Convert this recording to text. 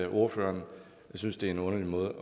ordføreren synes det er en underlig måde